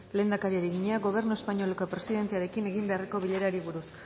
lehendakariari egina gobernu espainoleko presidentearekin egin beharreko bilerari buruz